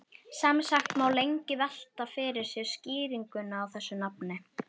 Sem sagt má lengi velta fyrir sér skýringunni á þessu nafni.